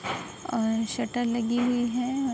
और शटर लगी हुई है औ --